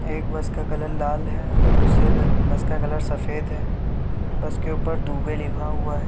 एक बस का कलर लाल है और दुसरे र बस का कलर सफ़ेद है बस के उपर दुबे लिखा हुआ है।